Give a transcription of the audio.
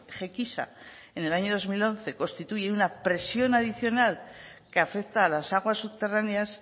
gequisa en el año dos mil once constituye una presión adicional que afecta a las aguas subterráneas